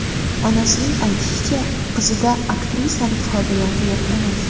Onasining aytishicha, qizida aktrisalik qobiliyati yo‘q emas.